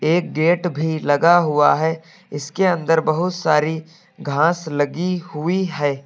एक गेट भी लगा हुआ है इसके अंदर बहुत सारी घास लगी हुई है।